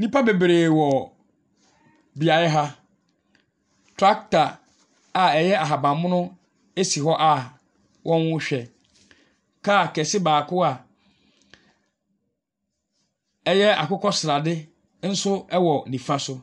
Nnipa bebree wɔ beaeɛ ha. Tractor a ɛyɛ ahaban mono esi hɔ a wɔrehwɛ. Car kɛse baako a ɛyɛ akokɔ srade nso ɛwɔ nifa so.